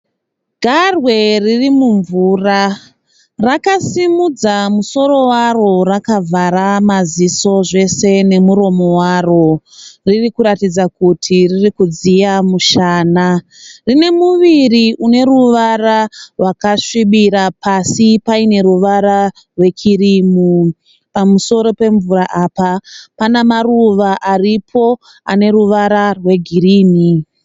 Garwe ririmumvura rakasimudza musoro waro rakavhara maziso zvese nemuromo waro. Ririkuratidza kuti riri kudziya mushana. Rine muviri ine ruvara rwakasvibira pasi paine ruvara rwekirimu. Pamusoro pemvura apa panemaruva aripo aneruvara rwegirinhi.